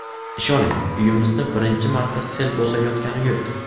Ishoning, uyimizni birinchi marta sel bosayotgani yo‘q.